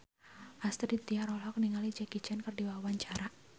Astrid Tiar olohok ningali Jackie Chan keur diwawancara